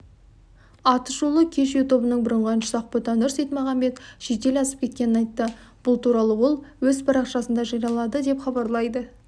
атышулы кеш тобының бұрынғы әншісі ақботанұр сейтмағанбет шетел асып кеткенін айтты бұл туралы ол өз парақшасында жариялады деп хабарлайды